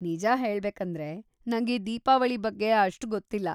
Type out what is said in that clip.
ನಿಜ ಹೇಳ್ಬೇಕಂದ್ರೆ, ನಂಗೆ ದೀಪಾವಳಿ ಬಗ್ಗೆ ಅಷ್ಟು ಗೊತ್ತಿಲ್ಲ.